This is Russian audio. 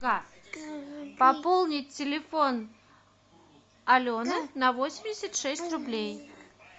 пополнить телефон алены на восемьдесят шесть рублей